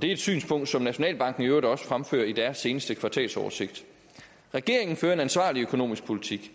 det er et synspunkt som nationalbanken i øvrigt også fremfører i deres seneste kvartalsoversigt regeringen fører en ansvarlig økonomisk politik